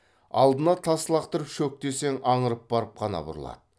алдына тас лақтырып шөк десең аңырып барып қана бұрылады